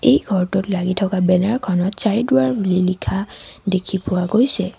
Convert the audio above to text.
এই ঘৰটোত লাগি থকা বেনাৰ খনত চাৰিদুৱাৰ বুলি লিখা দেখি পোৱা গৈছে।